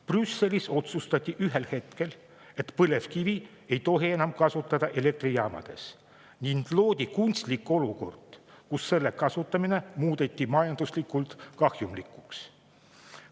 Brüsselis otsustati ühel hetkel, et põlevkivi ei tohi enam elektrijaamades kasutada, ning loodi kunstlik olukord, kus selle kasutamine muudeti majanduslikult kahjumlikuks.